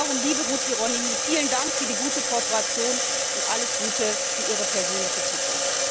Und darum, liebe Ruth Hieronymi, vielen Dank für die gute Kooperation und alles Gute für Ihre persönliche Zukunft!